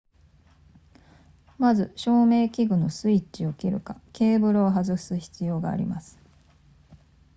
まず照明器具のスイッチを切るかケーブルを外す必要があります